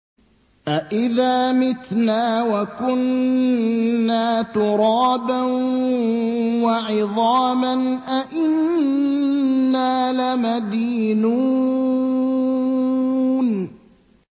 أَإِذَا مِتْنَا وَكُنَّا تُرَابًا وَعِظَامًا أَإِنَّا لَمَدِينُونَ